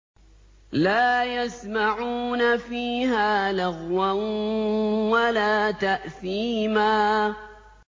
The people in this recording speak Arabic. لَا يَسْمَعُونَ فِيهَا لَغْوًا وَلَا تَأْثِيمًا